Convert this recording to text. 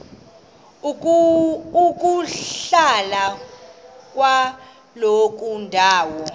ukuhlala kwakuloo ndawo